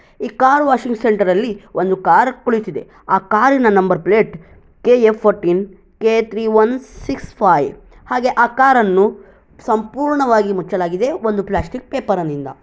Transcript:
ಈ car washing centre ಅಲ್ಲಿ ಒಂದು ಕಾರ್ ಕುಳಿತಿದೆ. ಆ ಕಾರಿನ number plate KA. Fourteen KA. Three one six five ಹಾಗೆ ಆ ಕಾರ ನ್ನು ಸಂಪೂರ್ಣವಾಗಿ ಮುಚ್ಚಲಾಗಿದೆ ಒಂದು ಪ್ಲಾಸ್ಟಿಕ್ ಪೇಪರ್ ನಿಂದ.